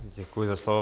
Děkuji za slovo.